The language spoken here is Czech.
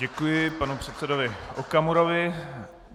Děkuji panu předsedovi Okamurovi.